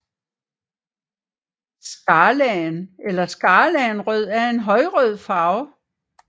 Skarlagen eller skarlagenrød er en højrød farve